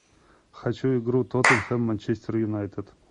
хочу игру тоттенхэм манчестер юнайтед